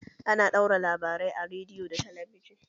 Ana ɗaura labarai a rediyo da talabijin